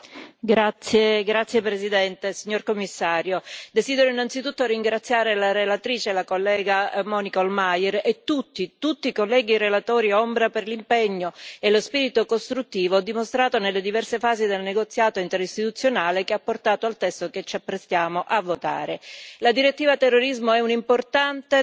Signor Presidente, onorevoli colleghi, signor Commissario, desidero innanzitutto ringraziare la relatrice, la collega Monika Hohlmeier, e tutti i colleghi relatori ombra per l'impegno e lo spirito costruttivo dimostrato nelle diverse fasi del negoziato interistituzionale che ha portato al testo che ci apprestiamo a votare.